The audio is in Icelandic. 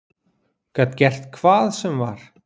Gat gert hvað sem var.